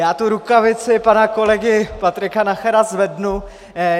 Já tu rukavici pana kolegy Patrika Nachera zvednu.